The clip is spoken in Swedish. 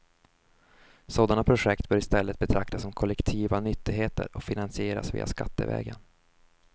Sådana projekt bör istället betraktas som kollektiva nyttigheter och finansieras via skattevägen.